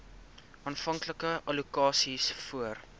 aanvanklike allokasies voor